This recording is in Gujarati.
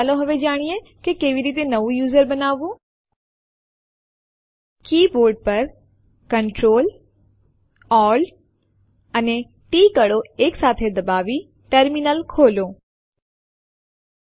આપણે જોઈ શકીએ છીએ ટેસ્ટ1 ના કન્ટેન્ટ બતાવવામાં આવેલ છે હવે જો આપણે તેને બીજી ફાઇલ માં કોપી કરવું છે જેનું નામ છે ટેસ્ટ2 તો આપણે લખીશું સીપી ટેસ્ટ1 ટેસ્ટ2 અને Enter દબાવો